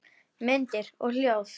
Myndir og hljóð